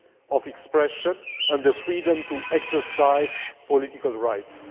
of expression and the freedom to exercise political rights.